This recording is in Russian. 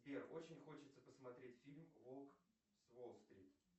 сбер очень хочется посмотреть фильм волк с уолл стрит